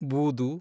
ಬೂದು